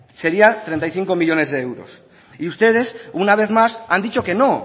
sería treinta y cinco millónes de euros y ustedes una vez más han dicho que no